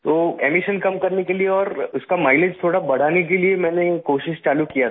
तो एमिशन कम करने के लिए और उसका माइलेज थोड़ा बढ़ाने के लिए मैंने कोशिश चालू किया था